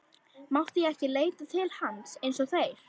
Mátti ég ekki leita til hans eins og þeir?